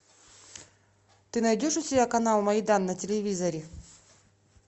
ты найдешь у себя канал майдан на телевизоре